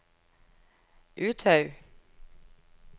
Uthaug